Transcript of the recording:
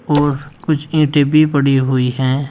और कुछ ईंटें भी पड़ी हुई है।